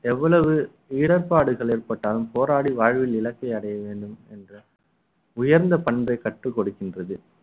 எவ்வளவு இடர்ப்பாடுகள் ஏற்பட்டாலும் போராடி வாழ்வில் இலக்கை அடைய வேண்டும் என்ற உயர்ந்த பண்பை கற்றுக் கொடுக்கின்றது